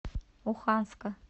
оханска